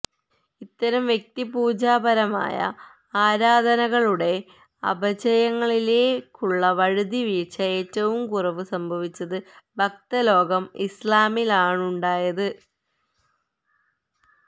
ഇത്തരം വ്യക്തിപൂജാപരമായ ആരാധനകളുടെ അപചയങ്ങളിലേക്കുള്ള വഴുതി വീഴ്ച ഏറ്റവും കുറവ് സംഭവിച്ച ഭക്തലോകം ഇസ്ലാമിലാണുണ്ടായത്